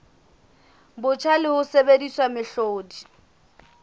botjha le ho sebedisa mehlodi